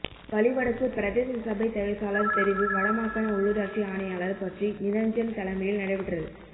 வலிவடக்கு பிரதேச சபை தவிசாளர் தெரிவு வடமாகாண உள்ளூராட்சி ஆணையாளர் பற்றிக் நிரஞ்சன் தலைமையில் நடைபெற்றது